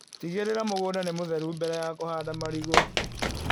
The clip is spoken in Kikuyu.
Tigĩrĩra mũgunda nĩ mũtheru mbere ya kũhanda marigũ.